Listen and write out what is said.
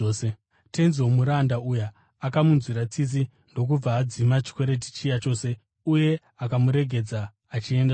Tenzi womuranda uya akamunzwira tsitsi, ndokubva adzima chikwereti chiya chose, uye akamuregedza achienda zvake.